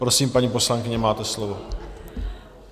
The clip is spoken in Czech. Prosím, paní poslankyně, máte slovo.